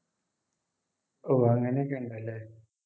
ഓഹ് അങ്ങനെ ഒക്കെ ഉണ്ടല്ലേ